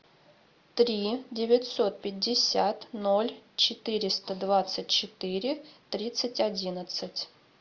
три девятьсот пятьдесят ноль четыреста двадцать четыре тридцать одиннадцать